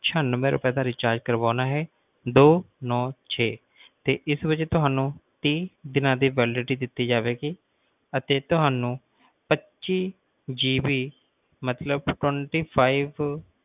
ਛਿਆਨਵੇਂ ਰੁਪਏ ਦਾ ਕਰਵਾਣਾ ਹੈ ਦੋ ਨਾਉ ਛੇ ਤੇ ਇਸ ਵੇਲੇ ਤੁਹਾਨੂੰ ਤੀਹ ਦੀਨਾ ਦੀ validity ਦਿੱਤੀ ਜਾਵੇਗੀ ਤੇ ਤੁਹਾਨੂੰ ਪੱਚੀ GB ਮਤਲਬ ਕਿ twentyfive